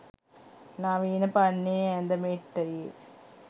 නවීන පන්නයේ ඇඳ මෙට්ටයේ